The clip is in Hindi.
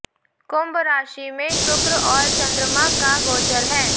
कुंभ राशि में शुक्र और चंद्रमा का गोचर है